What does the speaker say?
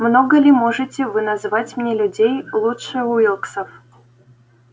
много ли можете вы назвать мне людей лучше уилксов